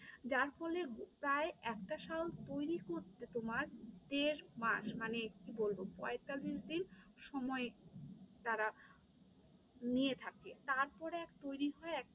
যার ফলে প্রায় একটা শাল তৈরী করতে তোমার দেড় মাস মানে কি বলবো, পঁয়তাল্লিশ দিন সময় তারা নিয়ে থাকে, তারপরে এক তৈরী হয়